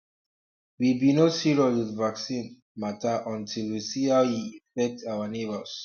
we be no serious with vaccine matter until we see how e affect our neighbors um